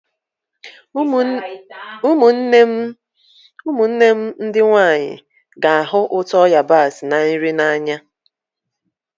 Ụmụnne m ndị nwanyị ga-ahụ ụtọ yabasị na nri n'anya